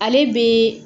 Ale bɛ